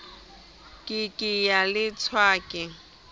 ke ke ya leshwa ke